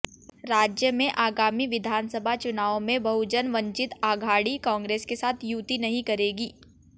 राज्य में आगामी विधानसभा चुनावों में बहुजन वंचित आघाड़ी कांग्रेस के साथ युति नहीं करेगी